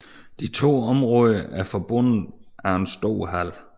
De to områder er forbundet af en stor hal